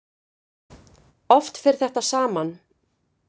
Oft fer þetta saman.